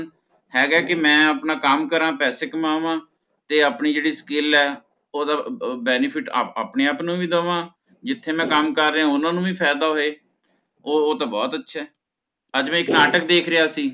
ਹੈਗਾ ਹੈ ਕੀ ਮੈ ਆਪਣਾ ਕਮ ਕਰਾਂ ਪੈਸੇ ਕਮਾਵਾ ਤੇ ਆਪਣੀ ਜਿਹੜੀ skill ਹੈ ਓਹਦਾ benefit ਆਪਣੇ ਆਪ ਨੂੰ ਵੀ ਦੇਵਾ ਜਿਥੇ ਮੈ ਕਮ ਕਰ ਰਿਹਾ ਓਹਨਾਂ ਨੂੰ ਵੀ ਫਾਇਦਾ ਹੋਵੇ ਓਹ ਤਹ ਬੋਹੋਤ ਅੱਛਾ ਅੱਜ ਮੈ ਇੱਕ ਨਾਟਕ ਦੇਖ ਰਿਹਾ ਸੀ